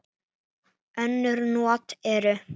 Önnur not eru